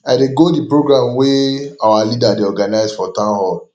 i dey go the program wey our leader dey organize for town hall